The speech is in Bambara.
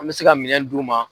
An bɛ se ka minɛn d'u ma.